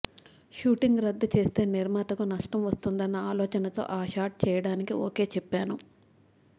shooting రద్దు చేస్తే నిర్మాతకు నష్టం వస్తుందన్న ఆలోచనతో ఆ షాట్ చేయడానికి ఓకే చెప్పాను